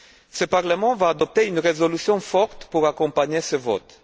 Ce Parlement va adopter une résolution forte pour accompagner ce vote.